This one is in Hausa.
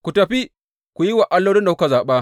Ku tafi ku yi wa allolin da kuka zaɓa.